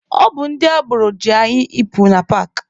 Ọ bụ ndị agboro ji anyị ịpụ na paakị.